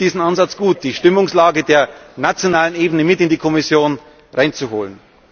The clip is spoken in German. Ich finde diesen Ansatz gut, die Stimmungslage der nationalen Ebene mit in die Kommission hereinzuholen.